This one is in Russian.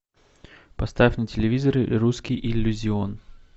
поставь на телевизоре русский иллюзион